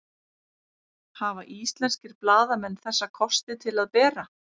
Hafa íslenskir blaðamenn þessa kosti til að bera?